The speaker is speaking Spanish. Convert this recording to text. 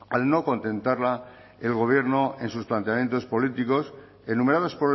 al no contentarla el gobierno en sus planteamientos políticos enumerados